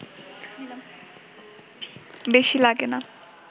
বেশি লাগে না